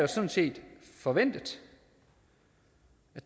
sådan set forventet